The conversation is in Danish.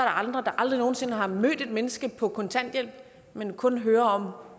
andre der aldrig nogen sinde har mødt et menneske på kontanthjælp men kun hører om